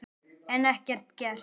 En ekkert gert.